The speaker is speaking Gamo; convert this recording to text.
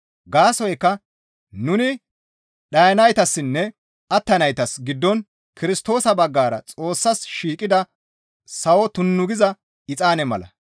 Gaasoykka nuni dhayanaytassinne attanaytas giddon Kirstoosa baggara Xoossas shiiqida sawo tunnu giza exaane mala.